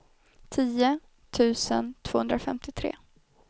tio tusen tvåhundrafemtiotre